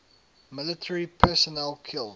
military personnel killed